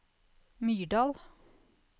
Myrdal